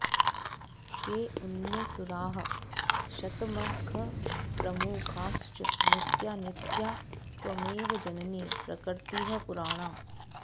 केऽन्ये सुराः शतमखप्रमुखाश्च नित्या नित्या त्वमेव जननी प्रकृतिः पुराणा